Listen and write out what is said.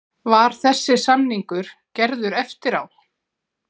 Var þessi samningur gerður eftir á?